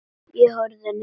Ég horfi niður fyrir mig.